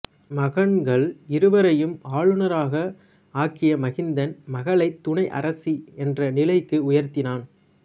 மகன்கள் இருவரையும் ஆளுனர்களாக ஆக்கிய மகிந்தன் மகளை துணை அரசி என்ற நிலைக்கு உயர்த்தினான்